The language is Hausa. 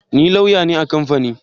Ni lauya ne a kamfani